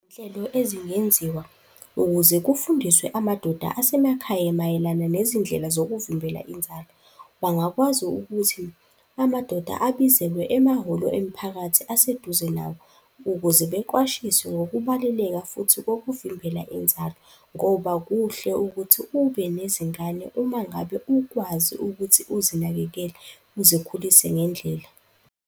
Izinhlelo ezingenziwa ukuze kufundiswe amadoda asemakhaya mayelana nezindlela zokuvimbela inzalo, wangakwazi ukuthi amadoda abizelwe emahholo emiphakathi aseduze nawo ukuze beqwashise ngokubaluleka futhi kokuvimbela inzalo. Ngoba kuhle ukuthi ube nezingane uma ngabe ukwazi ukuthi uzinakekele uzikhulise ngendlela.